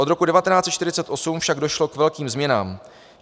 Od roku 1948 však došlo k velkým změnám.